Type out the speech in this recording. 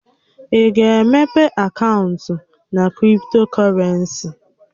Ị ga-emepe akaụntụ na kriptokọrensi?